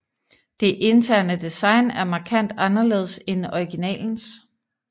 Det interne design er markant anderledes end originalens